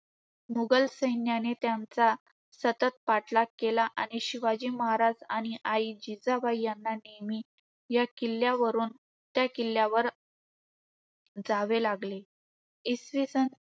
मुघल सैन्याने त्यांचा सतत पाठलाग केला. आणि शिवाजी महाराज आणि आई जिजाबाई यांना नेहमी या किल्ल्यावरून त्या किल्ल्यावर जावे लागले. इसवी सन